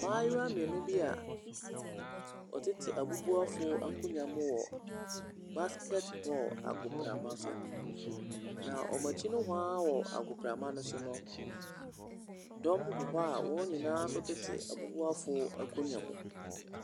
Mmaayewa mmienu bi a wɔtete abubuafoɔ akonnwa mu wɔ basket ball agoprama so, na wɔn akyi nohoa wɔ agoprama no so no, dɔm gu hɔ a wɔn nyinaa nso tete abubuafoɔ akonnwa mu.